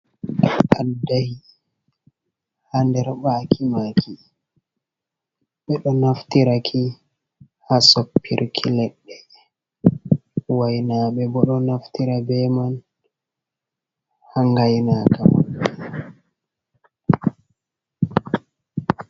Addahi ha nder ɓaki maki, ɓeɗo naftiraki ha soppirki leɗɗe, wainaɓe bo ɗo naftira be man ha ngainakama.